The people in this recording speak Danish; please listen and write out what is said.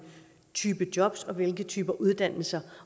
type jobs og hvilke typer uddannelser